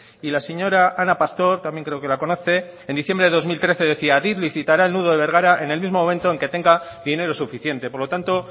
y la señora ana pastor también creo que la conoce en diciembre de dos mil trece decía adif licitará el nudo de bergara en el mismo momento en que tenga dinero suficiente por lo tanto